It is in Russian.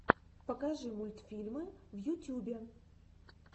покажи мультфильмы в ютюбе